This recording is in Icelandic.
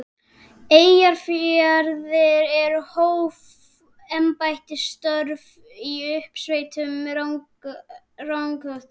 Eyjafirði en hóf embættisstörf í uppsveitum Rangárþings.